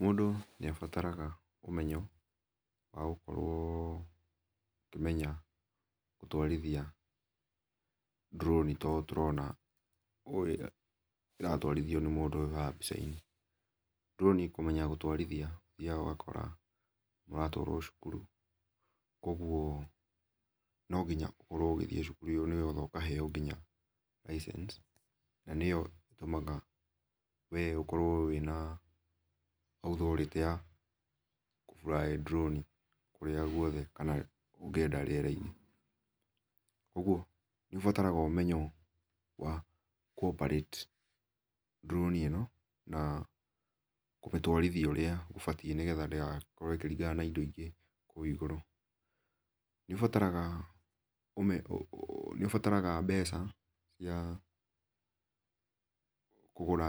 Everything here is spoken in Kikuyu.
Mũndũ nĩabataraga ũmenyo wa gũkorwo akĩmenya gũtwarĩthĩa drone ta ũ tũrona kũrĩa ĩratwarĩthĩo nĩ mũndũ haha mbĩca inĩ. Drone kũmenya kũtwarĩthĩa ũthĩaga ũgakora kana ũgatwaro cukuru kwogwo no gĩnya ũkorwo ũgĩthĩe cukuru ĩyo nĩ getha ũgakĩheo ngĩnya license na nĩyo itũmaga, we ũkoro wĩna authority ya kũ fly drone kũrĩa gwothe kana ũgĩenda rĩera inĩ. Kwogwo nĩ ũbataraga ũmenyo wa kũ operate drone ĩno na kũmĩtwarĩthĩa ũrĩa ũbatĩe nĩ getha ndĩgakorwo ĩkĩrĩngana na ĩndo ingĩ kũrĩa igũrũ. Nĩũbataraga mbeca cia kũgũra